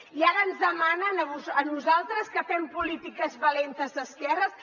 i ara ens demanen a nosaltres que fem polítiques valentes d’esquerres